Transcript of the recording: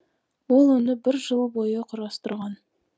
ол оны бір жыл бойы құрастырған